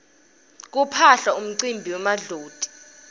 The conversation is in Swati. kuphaphla kumcimbi wemadloti